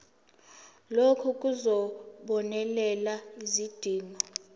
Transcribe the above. lokhu kuzobonelela izidingo